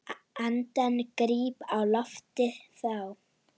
Andann gríp á lofti þá.